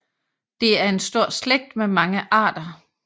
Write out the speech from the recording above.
Det er en stor slægt med mange arter